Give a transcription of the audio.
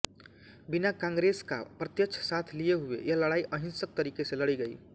बिना कांग्रेसका प्रत्यक्ष साथ लिए हुए यह लड़ाई अहिंसक तरीके से लड़ी गई